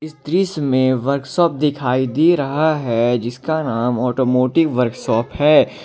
इस दृश्य में वर्कशॉप दिखाई दे रहा है जिसका नाम ऑटोमोटिव वर्कशॉप है।